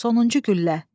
Sonuncu güllə.